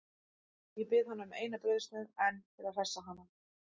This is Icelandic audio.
Ég bið hana um eina brauðsneið enn til að hressa hana.